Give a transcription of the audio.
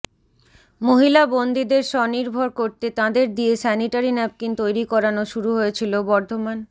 মহিলা বন্দিদের স্বনির্ভর করতে তাঁদের দিয়ে স্যানিটারি ন্যাপকিন তৈরি করানো শুরু হয়েছিল বর্ধমান